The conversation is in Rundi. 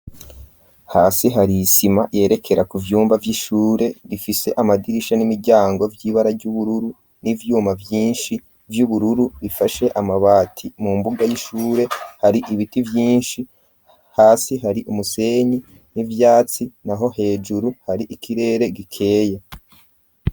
hasi hari isima yerekera ku vyumba vy'ishure bifise amadirisha n'imiryango vy'ibara ry'ubururu n'ivyuma vyinshi vy'ubururu bifashe amabati, mu mbuga y'ishure hari ibiti vyinshi, hasi hari umusenyi n'ivyatsi, naho hejuru hari ikirere gikeye.